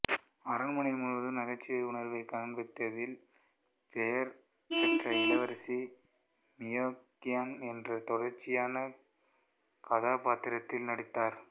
அரண்மனை முழுவதும் நகைச்சுவை உணர்வைக் காண்பிப்பதில் பெயர் பெற்ற இளவரசி மியோங்கன் என்ற தொடர்ச்சியான கதாபாத்திரத்தில் நடித்தார்